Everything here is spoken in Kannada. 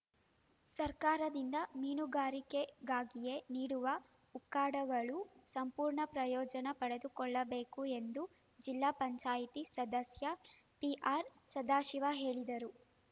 ಸರ್ಕಾರದಿಂದ ಮೀನುಗಾರಿಕೆಗಾಗಿಯೇ ನೀಡುವ ಉಕ್ಕಡಗಳು ಸಂಪೂರ್ಣ ಪ್ರಯೋಜನ ಪಡೆದುಕೊಳ್ಳಬೇಕು ಎಂದು ಜಿಲ್ಲಾ ಪಂಚಾಯಿತಿ ಸದಸ್ಯ ಪಿಆರ್‌ ಸದಾಶಿವ ಹೇಳಿದರು